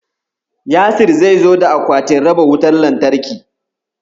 Yasir zai zo da akwatin raba wutar lantarkin.